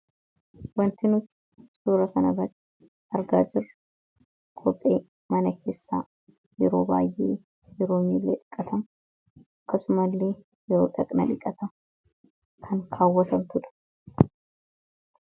wanti nuti suura kana irraatti argaa jirru kophee mana keessaa yeroo baay'ee yeroo miilee dhiqqatam akkasumallee yeroo dhaqna dhiqatan kan kaawwatabtuudha